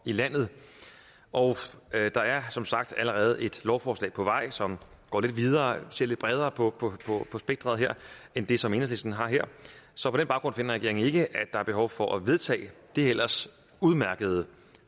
i landet og der er som sagt allerede et lovforslag på vej som går lidt videre ser lidt bredere på på spektret her end det som enhedslisten har her så på den baggrund finder regeringen ikke at er behov for at vedtage det ellers udmærkede